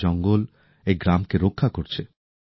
আজ এই জঙ্গল এই গ্রামকে রক্ষা করছে